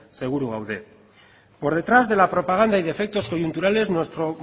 seguru gaude por detrás de la propaganda y defectos coyunturales nuestro